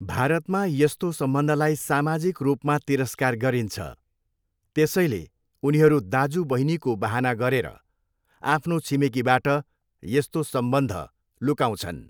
भारतमा यस्तो सम्बन्धलाई सामाजिक रूपमा तिरस्कार गरिन्छ, त्यसैले उनीहरू दाजु बहिनीको बहाना गरेर आफ्नो छिमेकीबाट यस्तो सम्बन्ध लुकाउँछन्।